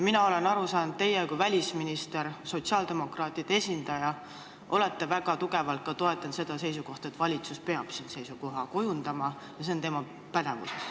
Mina olen aru saanud, et teie kui välisminister, sotsiaaldemokraatide esindaja olete väga tugevalt toetanud seda seisukohta, et valitsus peab siin seisukoha kujundama ja see on tema pädevuses.